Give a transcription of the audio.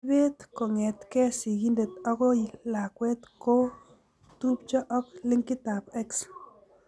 Ibet kong'etke sigindet akoi lakwet ko tupcho ak linkitab X.